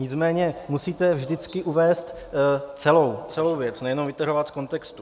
Nicméně musíte vždycky uvést celou věc, nejenom vytrhovat z kontextu.